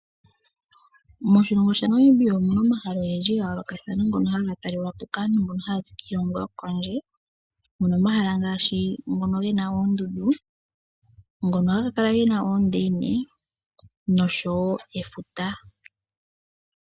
Moshilongo shetu Namibia omuna omahala ogendji gayoolokathana ngono haga taalelwapo kaantu oyendji mbono haya zi kiilongo yokondje. Muna omahala ngaashi ngono gena oondundu , ngono haga kala gena oondeini noshowoo efuta.